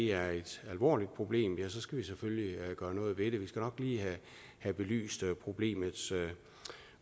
er et alvorligt problem skal vi selvfølgelig gøre noget ved det vi skal nok lige have belyst problemets